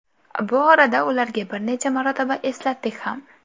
Bu orada ularga bir necha marotaba eslatdik ham.